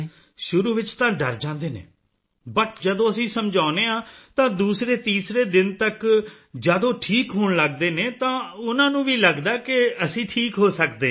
ਸ਼ੁਰੂ ਵਿੱਚ ਤਾਂ ਡਰ ਜਾਂਦੇ ਨੇ ਬਟ ਜਦੋਂ ਅਸੀਂ ਸਮਝਾਉਂਦੇ ਹਾਂ ਤਾਂ ਦੂਸਰੇਤੀਸਰੇ ਦਿਨ ਤਕ ਜਦ ਉਹ ਠੀਕ ਹੋਣ ਲੱਗਦੇ ਨੇ ਤਾਂ ਉਨ੍ਹਾਂ ਨੂੰ ਵੀ ਲੱਗਦਾ ਹੈ ਕਿ ਅਸੀਂ ਠੀਕ ਹੋ ਸਕਦੇ ਹਾਂ